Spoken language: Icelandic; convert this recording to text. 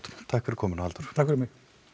takk fyrir komuna Halldór takk fyrir mig